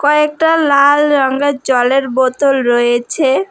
কয়েকটা লাল রংয়ের জলের বোতল রয়েছে।